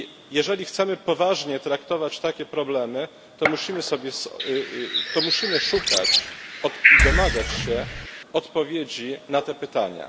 Jeżeli chcemy poważnie traktować takie problemy, to musimy szukać i domagać się odpowiedzi na te pytania.